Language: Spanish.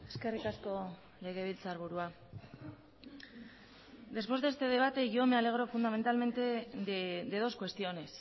eskerrik asko legebiltzarburua después de este debate yo me alegro fundamentalmente de dos cuestiones